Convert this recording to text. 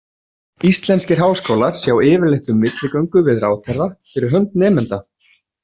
Íslenskir háskólar sjá yfirleitt um milligöngu við ráðherra fyrir hönd nemenda.